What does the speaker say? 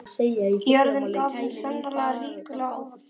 Jörðin gaf þeim sannarlega ríkulega ávexti í þessu góðæri.